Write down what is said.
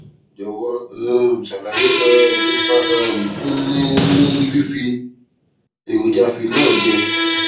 jòwó um ṣàlàyé um ipa um tó ń ní lórí fífi èròjà phenol jẹ